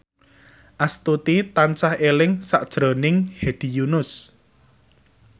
Astuti tansah eling sakjroning Hedi Yunus